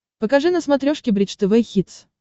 покажи на смотрешке бридж тв хитс